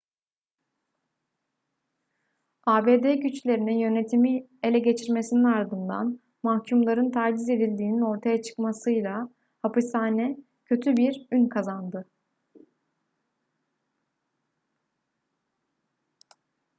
abd güçlerinin yönetimi ele geçirmesinin ardından mahkumların taciz edildiğinin ortaya çıkmasıyla hapishane kötü bir ün kazandı